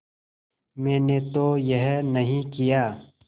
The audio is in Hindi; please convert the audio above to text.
मैंने तो यह नहीं किया